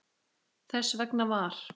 Þess vegna var